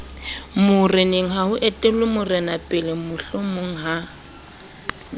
morenengha ho etellwa morenapele mohlomongha